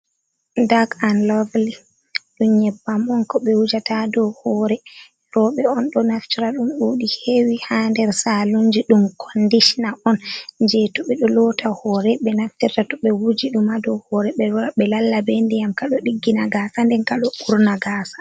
Dak an lovili, ɗum nyebbam on ko ɓe wujata dow hore roɓe on ɗo naftora ɗum ɗuɗi hewi ha nder salunji ɗum kondishina on, je to ɓe ɗo lota hore ɓe naftirta to ɓe wuji ɗuma do hore ɓe lora ɓe lalla ɓe ndiyam kado diggina gasa den kaɗo urna gasa.